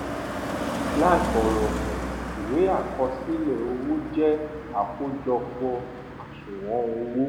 làì fòrògùn ìwé àkọsílè owó jé àkójọpọ̀ àṣùwòn owó